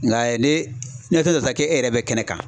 Nka ne ke e yɛrɛ bɛ kɛnɛ kan.